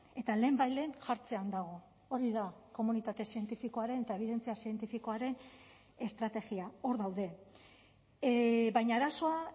eta lehenbailehen jartzean dago hori da komunitate zientifikoaren eta ebidentzia zientifikoaren estrategia hor daude baina arazoa